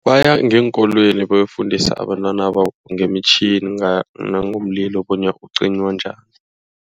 Baya ngeenkolweni bayokufundisa abantwana ngeemtjhini, nangomlilo bona ucinywa njani.